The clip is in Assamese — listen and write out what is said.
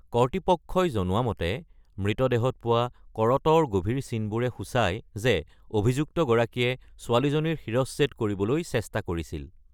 কৰ্তৃপক্ষই জনোৱা মতে, মৃতদেহত পোৱা কৰতৰ গভীৰ চিনবোৰে সূচায় যে অভিযুক্তগৰাকীয়ে ছোৱালীজনীৰ শিৰশ্ছেদ কৰিবলৈ চেষ্টা কৰিছিল।